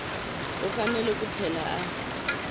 u fanele ku tlhela a